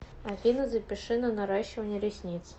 афина запиши на наращивание ресниц